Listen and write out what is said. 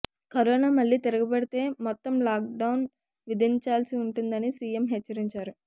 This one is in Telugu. కరోనా మళ్లీ తిరగబెడితే మొత్తం లాక్డౌన్ విధించాల్సి ఉంటుందని సీఎం హెచ్చరించారు